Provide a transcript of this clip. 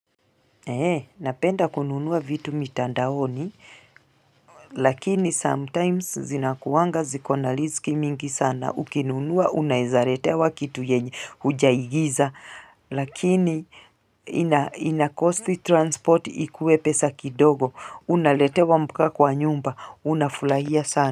Hee napenda kununuwa vitu mitandaoni lakini sometimes zinakuwanga zikona lizki mingi sana ukinunua unaezaretewa kitu yenye hujaigiza lakini ina ina cost transport ikuwe pesa kidogo unaletewa mkiwa kwa nyumba unafulahia sana.